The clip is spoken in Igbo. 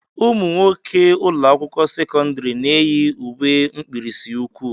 Ụmụnwoke ụlọ akwụkwọ sekọndrị na-eyi uwe mkpirisi ụkwụ.